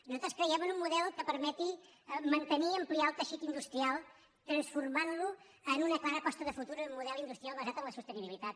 nosaltres creiem en un model que permeti mantenir i ampliar el teixit industrial i transformar lo en una clara aposta de futur un model industrial basat en la sostenibilitat